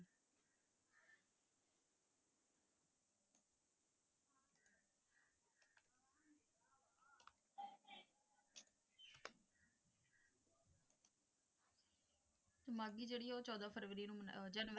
ਮਾਘੀ ਜਿਹੜੀ ਹੈ ਉਹ ਚੌਦਾਂ ਫਰਵਰੀ ਨੂੰ ਆਹ ਜਨ,